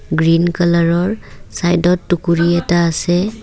Green কালাৰৰ চাইডত টুকুৰি এটা আছে।